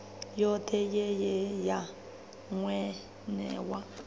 yothe ye ye ya newa